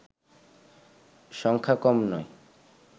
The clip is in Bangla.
সংখ্যা কম নয়